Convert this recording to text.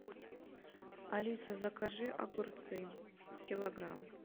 алиса закажи огурцы килограмм